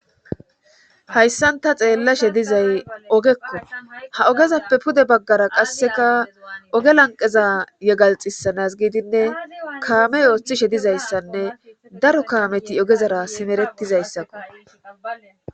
hayssanta xeellashe dizay ogekko ha ogezappe pude baggara qasseka oge lanqeza yegalxisanas giidinne kaamey ooththishe dizayssanne daro kaameti ogezara simeretizayssako